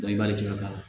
i b'ale jama